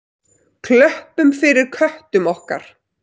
Klöppum fyrir köttum okkar!